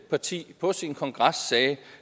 parti på sin kongres sagde